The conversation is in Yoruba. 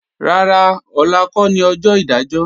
Rárá, ọ̀la kọ́ ni ọjọ́ ìdájọ́